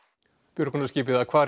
björgunarskipið